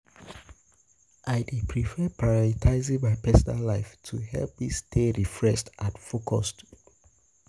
I dey prefer prioritizing my personal life to help me stay refreshed and focused.